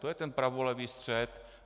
To je ten pravolevý střed.